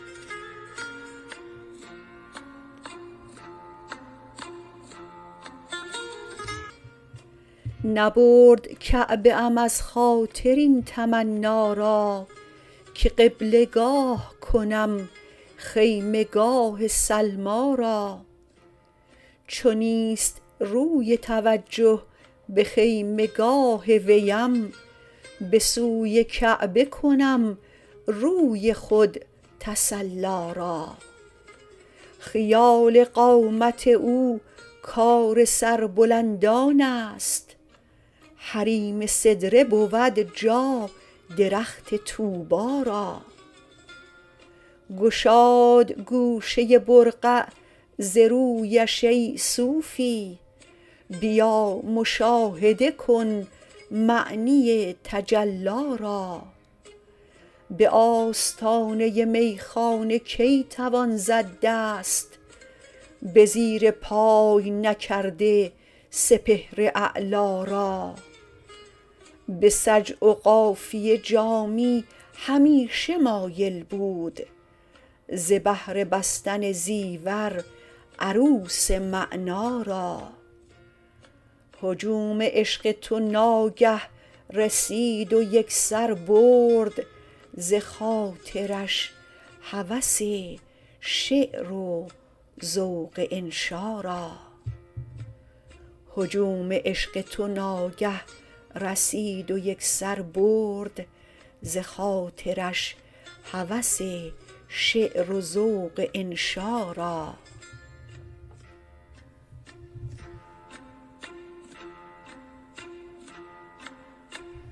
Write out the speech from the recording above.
نبرد کعبه ام از خاطر این تمنا را که قبله گاه کنم خیمه گاه سلمی را چو نیست روی توجه به خیمه گاه ویم به سوی کعبه کنم روی خود تسلی را خیال قامت او کار سربلندان است حریم سدره بود جا درخت طوبی را گشاد گوشه برقع ز رویش ای صوفی بیا مشاهده کن معنی تجلی را به آستانه میخانه کی توان زد دست به زیرپای نکرده سپهر اعلا را به سجع و قافیه جامی همیشه مایل بود ز بهر بستن زیور عروس معنا را هجوم عشق تو ناگه رسید و یکسر برد ز خاطرش هوس شعر و ذوق انشا را